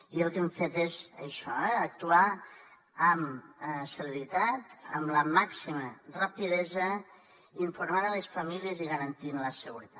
i el que hem fet és això actuar amb celeritat amb la màxima rapidesa informant les famílies i garantint la seguretat